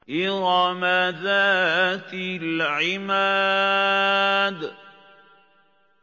إِرَمَ ذَاتِ الْعِمَادِ